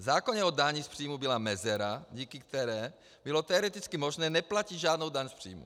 V zákoně o dani z příjmů byla mezera, díky které bylo teoreticky možné neplatit žádnou daň z příjmů.